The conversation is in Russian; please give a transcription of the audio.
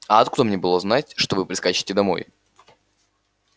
а откуда мне было знать что вы прискачете домой